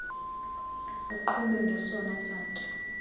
uqhube ngesona satya